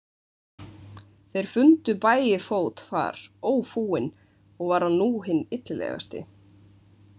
Þeir fundu Bægifót þar ófúinn og var hann nú hinn illilegasti.